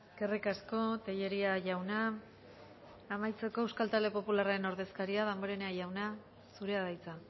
eskerrik asko tellería jauna amaitzeko euskal talde popularraren ordezkaria damborena jauna zurea da hitza